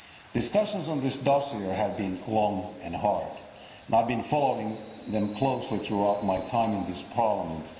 Discussions on this dossier have been long and hard and I have been following them closely throughout my time in this Parliament.